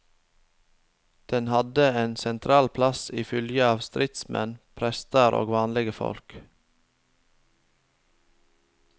Den hadde ein sentral plass i fylgje av stridsmenn, prestar og vanlege folk.